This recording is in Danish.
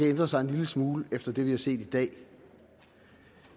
ændret sig en lille smule efter det vi har set i dag